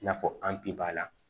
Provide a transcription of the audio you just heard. I n'a fɔ an bi b'a la